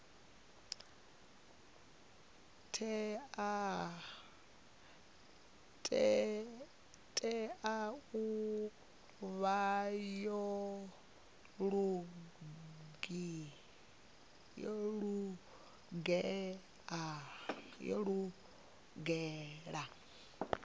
tea u vha yo lugela